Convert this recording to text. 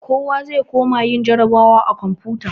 Kowa zai koma yin jarrabawa da komfuta.